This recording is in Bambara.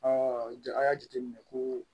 an y'a jateminɛ ko